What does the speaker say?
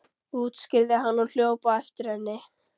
útskýrði hann og hljóp á eftir henni.